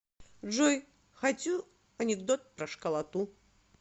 джой хочу анекдот про школоту